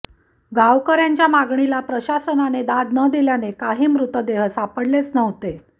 गावकर्यांच्या मागणीला प्रशासनाने दाद न दिल्याने काही मृतदेह सापडलेच नव्हते